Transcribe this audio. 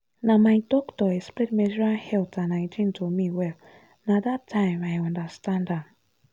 na my doctor explain menstrual health and hygiene to me well na that time i understand am.